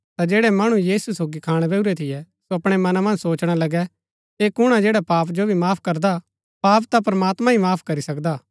ता जैड़ै मणु यीशु सोगी खाणा बैहुरै थियै सो अपणै मना मन्ज सोचणा लगै ऐह कुण हा जैडा पापा जो भी माफ करदा पाप ता प्रमात्मां ही माफ करी सकदा